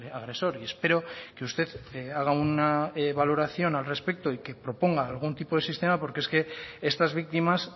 agresor y espero que usted haga una valoración al respecto y que proponga algún tipo de sistema porque es que estas víctimas